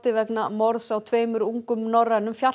vegna morðs á tveimur ungum norrænum